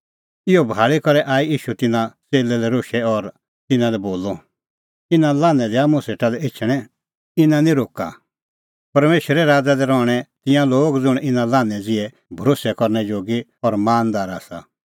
इहअ भाल़ी करै आई ईशू तिन्नां च़ेल्लै लै रोशै और तिन्नां लै बोलअ इना लान्हैं दैआ मुंह सेटा लै एछणैं इना निं रोक्का इना लान्हैं ज़िहै लोगो ई आसा परमेशरो राज़